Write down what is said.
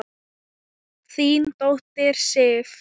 Þín dóttir, Sif.